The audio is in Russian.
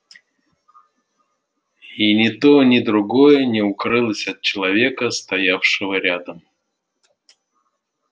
и ни то ни другое не укрылось от человека стоявшего рядом